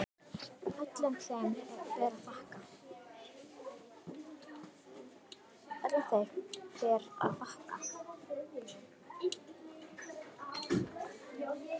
Öllum þeim ber að þakka.